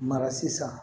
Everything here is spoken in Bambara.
Mara sisan